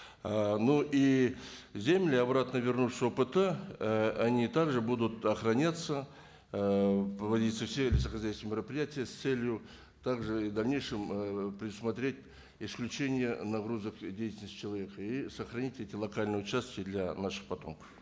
ыыы ну и земли обратно вернувшие опт ы они так же будут охраняться ыыы проводится все мероприятия с целью так же в дальнейшем ыыы предусмотреть исключение нагрузок деятельности человека и сохранить эти локальные участки для наших потомков